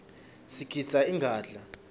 sigidza ingadla